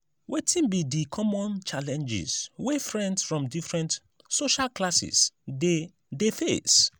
wetin be di common challenges wey friends from different social classes dey dey face?